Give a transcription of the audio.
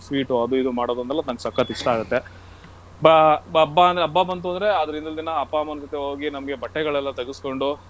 ಅದು ಇದು ಮಾಡೊದೆಲ್ಲಾ ನಂಗೆ ಸಖತ್ ಇಷ್ಟ ಆಗುತ್ತೆ. ಬ~ ಬ~ ಹಬ್ಬ ಬಂತು ಅಂದ್ರೆ ಅದ್ರ ಹಿಂದಿನ್ ದಿನ ಅಪ್ಪ ಅಮ್ಮನ್ ಜೊತೆ ಹೋಗಿ ನಮ್ಗೆ ಬಟ್ಟೆಗಳೆಲ್ಲಾ ತಗೆಸ್ಕೋಂಡು.